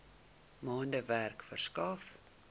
maande werk verskaf